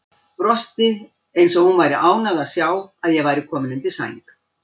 Brosti eins og hún væri ánægð að sjá að ég var kominn undir sæng.